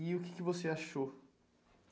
E o que que você achou?